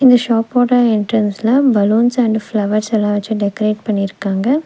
இந்த ஷாப்போட என்ட்ரன்ஸ்ல பலூன்ஸ் அண்ட் ஃபிளவர்ஸ் எல்லா வெச்சு டெக்ரேட் பண்ணிருக்காங்க.